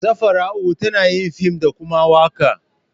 Safara'u tana yin fim da koma waƙa.